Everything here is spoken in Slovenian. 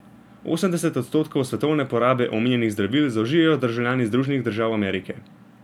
Osemdeset odstotkov svetovne porabe omenjenih zdravil zaužijejo državljani Združenih držav Amerike.